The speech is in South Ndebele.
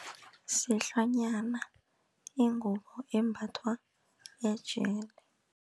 Sihlwanyana ingubo embathwa ejele.